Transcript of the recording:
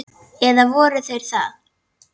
Eða voru þeir það?